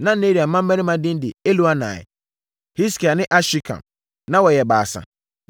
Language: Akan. Na Nearia mmammarima din de Elioenai, Hiskia ne Asrikam. Na wɔyɛ baasa.